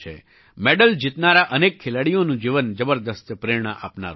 medal જીતનારા અનેક ખેલાડીઓનું જીવન જબરદસ્ત પ્રેરણા આપનારું છે